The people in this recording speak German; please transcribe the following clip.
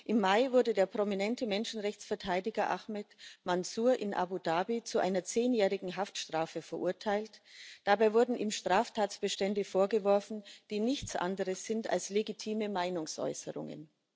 Im Mai wurde der prominente Menschenrechtsverteidiger Ahmad Mansur in Abu Dhabi zu einer zehnjährigen Haftstrafe verurteilt, dabei wurden ihm Straftatbestände vorgeworfen, die nichts anderes sind als legitime Meinungsäußerungen.